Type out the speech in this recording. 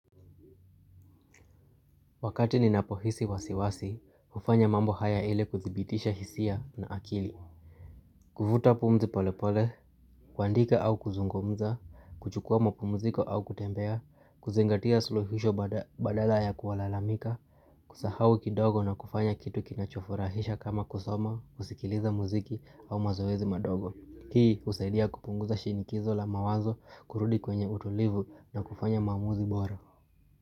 Wakati ninapohisi wasiwasi, ufanya mambo haya ile kuthibitisha hisia na akili. Kufuta pumzi polepole, kuandika au kuzungumza, kuchukua mpumziko au kutembea, kuzingatia suluhisho badala ya kuwalalamika, kusahau kidogo na kufanya kitu kinachofurahisha kama kusoma, kusikiliza muziki au mazoezi madogo. Hii usaidia kupunguza shinikizo la mawazo, kurudi kwenye utulivu na kufanya maamuzi bora.